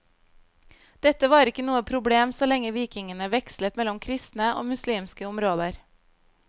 Dette var ikke noe problem så lenge vikingene vekslet mellom kristne og muslimske områder.